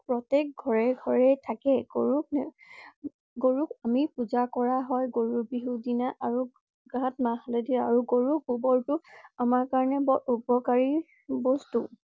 প্ৰত্যেক ঘৰে ঘৰে থাকে। গৰুক~গৰুক আমি পূজা কৰা হয় গৰু বিহু দিনা আৰু গাঁত মাহ হালধি আৰু গৰুক গোবৰ টো আমাৰ কাৰণে বৰ উপকাৰী বস্তু।